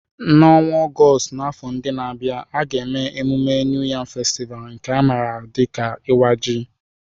N'ọnwa Ọgọst n'afọ ndị na-abịa, a ga-eme mmemme New Yam Festival, nke a maara dị ka Iwa Ji.